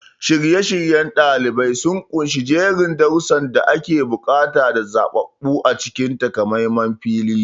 Shirye-shiryen ɗalibai sun ƙunshi jerin darussan da ake buƙata da zaɓaɓɓu a cikin takamaiman filin.